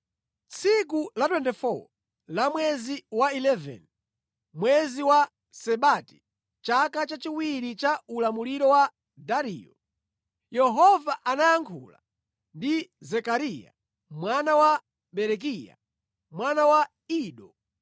Tsiku la 24 la mwezi wa 11, mwezi wa Sebati, chaka chachiwiri cha ulamuliro wa Dariyo, Yehova anayankhula ndi Zekariya mwana wa Berekiya, mwana wa Ido.